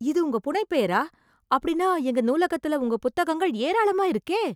இது உங்க புனைப் பெயரா, அப்படினா எங்க நூலகத்துல உங்க புத்தங்கள் ஏராளமா இருக்கே.